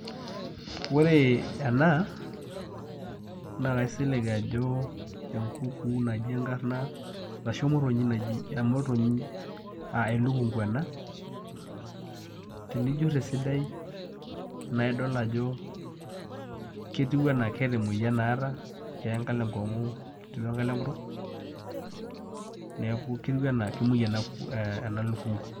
Ore ena naa kaisilig ajo enkukuu naji enkarna arashu emotonyi naji, emotonyi aa elukungu ena tenijurr esidai naa idol ajo ketiu enaa keeta emoyian naata keya enkalo enkong'u o enkalo enkutuk neeku ketiu enaa kemuoi ena lukungu.